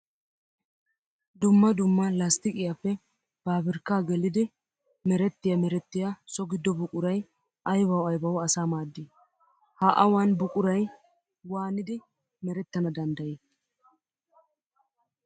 Dumma dumma lasttiqqiyappe paabirkka gelliddi merettiya merettiya so gido buquray aybbawu aybbawu asaa maadi? Ha awan buquray waaniddi merettana danddayi?